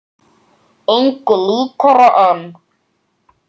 Engu líkara en